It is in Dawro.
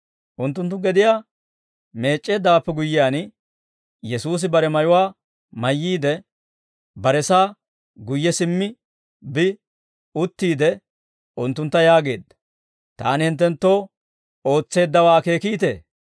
Unttunttu gediyaa meec'c'eeddawaappe guyyiyaan, Yesuusi bare mayuwaa mayyiide, baresaa guyye simmi bi uttiide unttuntta yaageedda; «Taani hinttenttoo ootseeddawaa akeekiitee?